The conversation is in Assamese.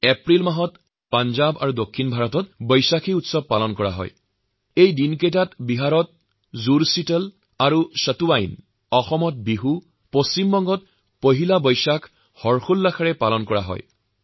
এপ্ৰিল মাহত পঞ্জাৱ আৰ পশ্চিম ভাৰতত বৈশাখীৰ উৎসৱ পালন কৰা হব আৰু একে সময়তে বিহাৰত জুডশীতল আৰু সেতুৱাইন অসমত বিহু আৰু পশ্চিমবংগত পহিলা বৈশাখৰ আনন্দউল্লাসত মতলীয়া হৈ থাকিব